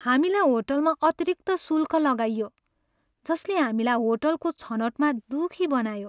हामीलाई होटलमा अतिरिक्त शुल्क लगाइयो, जसले हामीलाई होटलको छनौटमा दुखी बनायो।